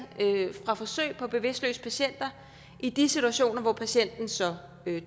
fra forsøg på bevidstløse patienter i de situationer hvor patienten så